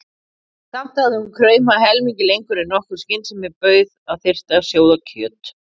Samt hafði hún kraumað helmingi lengur en nokkur skynsemi bauð að þyrfti að sjóða kjöt.